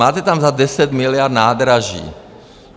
Máte tam za 10 miliard nádraží.